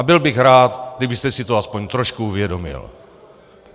A byl bych rád, kdybyste si to aspoň trošku uvědomil.